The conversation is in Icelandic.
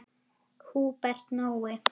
Húbert Nói.